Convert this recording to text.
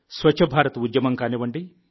స్వచ్ఛ భారత్ ఉద్యమం కానివ్వండి